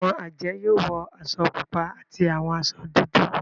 Awọn ajẹ yoo wọ aṣọ pupa ati awọn aṣọ dudu.